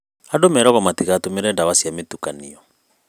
Andũ meragwo matigatũmĩre dawa cia mĩtukanio